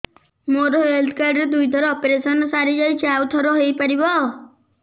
ମୋର health card ରେ ଦୁଇ ଥର ଅପେରସନ ସାରି ଯାଇଛି ଆଉ ଥର ହେଇପାରିବ